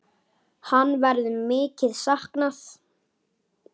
Hans verður mikið saknað.